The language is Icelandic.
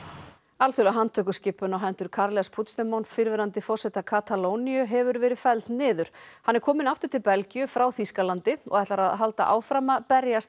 alþjóðleg handtökuskipun á hendur Carles Puigdemont fyrrverandi forseta Katalóníu hefur verið felld niður hann er kominn aftur til Belgíu frá Þýskalandi og ætlar að halda áfram að berjast